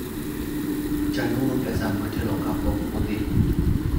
Chanuru pesa motelo kapok udhi.